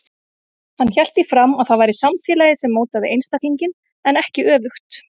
Hann hélt því fram að það væri samfélagið sem mótaði einstaklinginn en ekki öfugt.